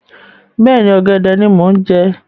Bẹ́ẹ̀ni, ọ̀gẹ̀dẹ̀ ni mo ń jẹ